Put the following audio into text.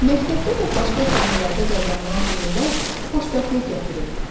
Məktəbdə və başqa sahələrdə qazanılan uğurlar xoşbəxtlik gətirir.